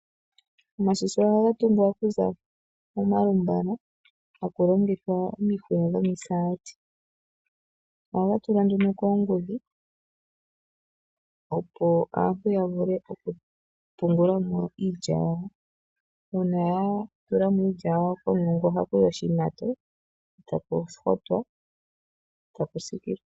Omashisha ohaga tungwa okuza moombala taku longithwa omihuya dhomisati. Ohaga tulwa nduno koongudhi, opo aantu ya vule okupungula mo iilya yawo. Uuna ya tula mo iilya yawo komulungu ohaku yi oshimato, taku hotwa taku siikilwa.